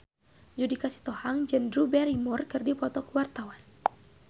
Judika Sitohang jeung Drew Barrymore keur dipoto ku wartawan